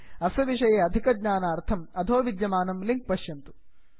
अस्य विषये अधिकज्ञानार्थं अधो विद्यमानं लिंक् पश्यन्तु